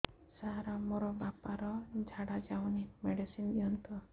ସାର ମୋର ବାପା ର ଝାଡା ଯାଉନି ମେଡିସିନ ଦିଅନ୍ତୁ